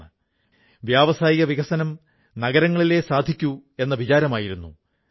കശ്മീർ താഴ്വര രാജ്യത്തിന്റെ മുഴുവൻ ഏകദേശം 90 ശതമാനം പെൻസിൽ സ്ലേറ്റിന്റെ തടി പട്ടികയുടെ ആവശ്യം പൂർത്തീകരിക്കുന്നു